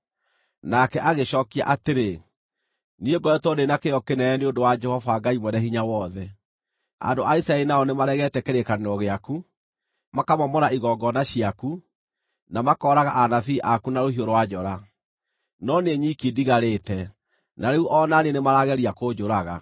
Nake agĩcookia atĩrĩ, “Niĩ ngoretwo ndĩ na kĩyo kĩnene nĩ ũndũ wa Jehova Ngai Mwene-Hinya-Wothe. Andũ a Isiraeli nao nĩmaregete kĩrĩkanĩro gĩaku, makamomora igongona ciaku, na makooraga anabii aku na rũhiũ rwa njora. No niĩ nyiki ndigarĩte, na rĩu o na niĩ nĩmarageria kũnjũraga.”